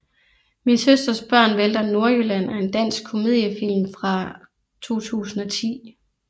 Min søsters børn vælter Nordjylland er en dansk komediefilm fra 2010